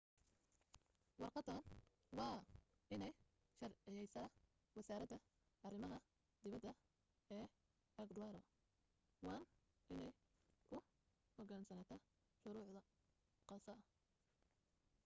warqaddan waa inay sharciyaysaa wasaaradda arimaha dibadda ee ekwadoor waan inay u hogaansantaa shuruudo khaasa